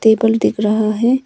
Table दिख रहा है।